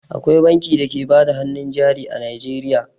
Akwai banki da ke bada hannun jari a Najeriya.